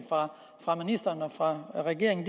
fra ministeren og fra regeringen